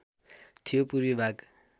थियो पूर्वी भाग